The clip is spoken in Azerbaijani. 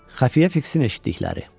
Xəfiyyə Fiksin eşitdikləri.